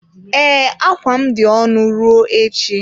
Ee, akwa m dị ọnụ ruo echi.